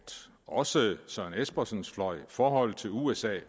også søren espersens fløj forholdet til usa